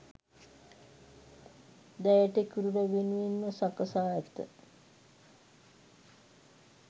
දැයට කිරුළ වෙනුවෙන්ම සකසා ඇත.